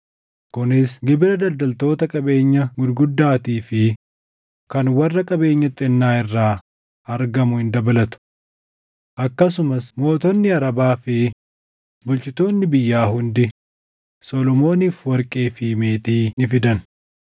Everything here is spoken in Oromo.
kunis gibira daldaltoota qabeenya gurguddaatii fi kan warra qabeenya xixinnaa irraa argamuu hin dabalatu. Akkasumas mootonni Arabaa fi bulchitoonni biyyaa hundi Solomooniif warqee fi meetii ni fidan.